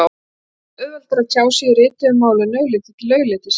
Mörgum finnst auðveldara að tjá sig í rituðu máli en augliti til auglitis.